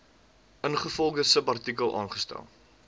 ingevolge subartikel aangestel